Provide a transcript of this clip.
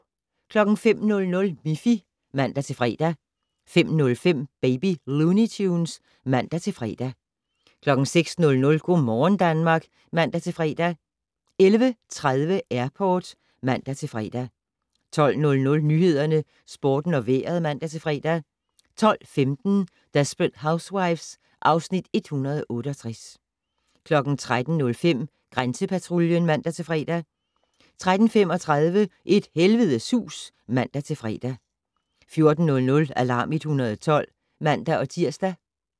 05:00: Miffy (man-fre) 05:05: Baby Looney Tunes (man-fre) 05:30: Tom & Jerry Tales (man-fre) 06:00: Go' morgen Danmark (man-fre) 11:30: Airport (man-fre) 12:00: Nyhederne, Sporten og Vejret (man-fre) 12:15: Desperate Housewives (Afs. 168) 13:05: Grænsepatruljen (man-fre) 13:35: Et helvedes hus (man-fre) 14:00: Alarm 112 (man-tir)